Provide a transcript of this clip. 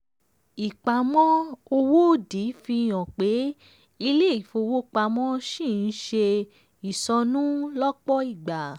ìpamọ́ owó òdì fi hàn pé ilé ìfowópamọ́ ṣì n ṣe ìsọnù lọ́pọ̀ ìgbà.